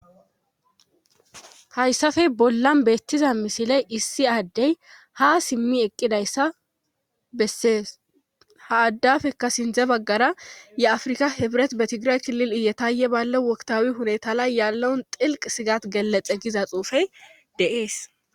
hayssafey bollan beettiza misiley issi aaddey ha simmi eqqidayssa bessees ha addafekka sindze baggara ye afrika hebret betigirek lil iyataaye balle woktawi hunetala yaallon xilq sigat gelexe giza xuufey deees